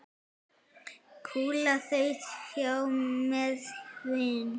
Kúla þaut hjá með hvin.